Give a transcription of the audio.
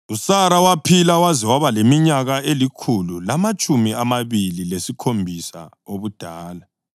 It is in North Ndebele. USara waphila waze waba leminyaka elikhulu lamatshumi amabili lesikhombisa obudala.